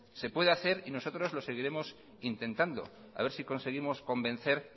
se puede hacer y nosotros lo seguiremos intentando haber si conseguimos convencer